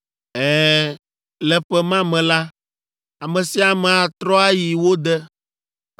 “ ‘Ɛ̃, le ƒe ma me la, ame sia ame atrɔ ayi wo de,